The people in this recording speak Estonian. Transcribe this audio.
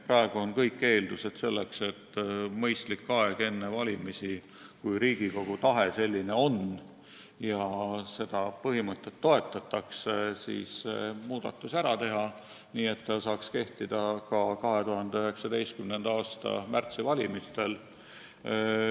Praegu on kõik eeldused selleks, et saaks mõistliku aja jooksul enne valimisi, kui Riigikogu tahe selline on ja seda põhimõtet toetatakse, muudatuse ära teha, nii et seadus saaks kehtida ka valimistel 2019. aasta märtsis.